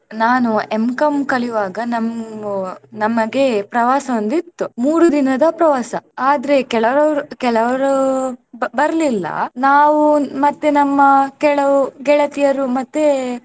ನಾನು M.Com ಕಲಿಯುವಾಗ ನಮ್~ ನಮಗೆ ಪ್ರವಾಸ ಒಂದಿತ್ತು ಮೂರು ದಿನದ ಪ್ರವಾಸ ಆದ್ರೆ ಕೆಲವ್ರವ್ರು~ ಕೆಲವ್ರು ಬ್~ ಬರಲಿಲ್ಲ ನಾವು ಮತ್ತೆ ನಮ್ಮ ಕೆಲವು ಗೆಳತಿಯರು ಮತ್ತೆ.